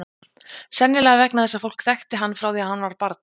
Sennilega vegna þess að fólk þekkti hann frá því hann var barn.